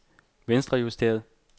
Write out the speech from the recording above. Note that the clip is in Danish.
venstrejusteret